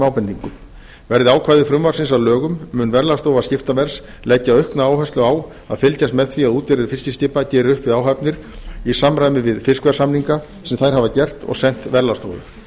ábendingum verði ákvæði frumvarpsins að lögum mun verðlagsstofa skiptaverðs leggja aukna áherslu á að fylgjast með því að útgerðir fiskiskipa geri upp við áhafnir í samræmi við fiskverðssamninga sem þær hafa gert og sent verðlagsstofu